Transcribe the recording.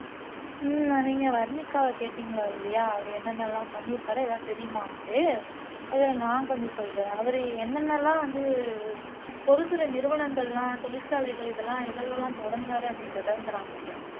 உம் நீங்க வர்னிகாவை கேட்டீங்க இல்லையா அவர் என்னென்ன எல்லாம் பண்ணி இருக்கிறார் எதாவதுதெரியுமான்னுட்டு அதை நான் கொஞ்சம் சொல்றேன் அவர் என்னென்ன எல்லாம் வந்து பொதுத்துறை நிறுவனங்கள் எல்லாம் தொழிற்சாலைகள் இதெல்லாம் எதுல எல்லாம் தொடங்குனார் அப்படின்றதை வந்து நான் சொல்றேன்